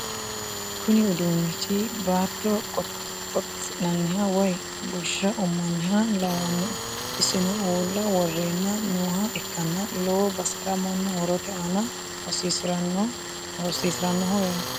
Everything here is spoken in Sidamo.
Kuni uduunichu baatto qotisi'naniha woyi bushsha ummanniha lawannoe isino uulla worreenna nooha ikkanna lowo basera mannu horote aana hosiisiranoho yaate